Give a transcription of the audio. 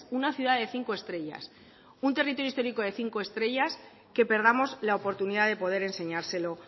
una ciudad de cinco estrellas un territorio histórico de cinco estrellas que perdamos la oportunidad de poder enseñárselo